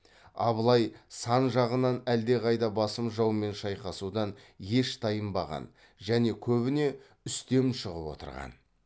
абылай сан жағынан әлдеқайда басым жаумен шайқасудан еш тайынбаған және көбіне үстем шығып отырған